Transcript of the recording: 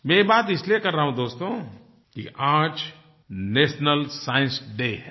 मैं ये बात इसलिए कर रहा हूँ दोस्तो कि आज नेशनल साइंस डे है